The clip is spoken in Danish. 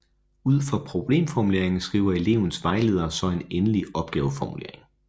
Ud fra problemformuleringen skriver elevens vejledere så en endelig opgaveformulering